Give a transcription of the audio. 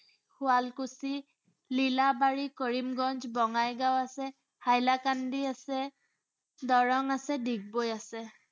শুৱালকুছি, লীলাবাড়ী, কৰিমগঞ্জ, বঙাইগাঁও আছে, হাইলাকান্দি আছে, দৰং আছে, ডিগবৈ আছে।